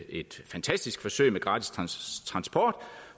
et fantastisk forsøg med gratis transport